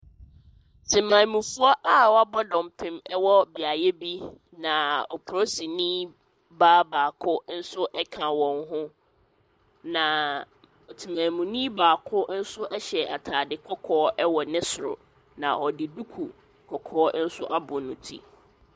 Temamufoɔ a wɔabɔ dɔmpem wɔ beaeɛ bi, na polisini baa baako nso ka wɔn ho. Na temamuni baako nso hyɛ atadeɛ kɔkɔɔ wɔ ne soro. Na ɔde duku kɔkɔɔ nso abɔ ne ti.